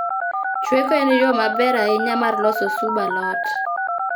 Chweko en yoo maber ahinya mar loso sub alot